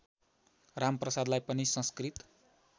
रामप्रसादलाई पनि संस्कृत